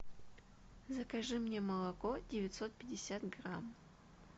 закажи мне молоко девятьсот пятьдесят грамм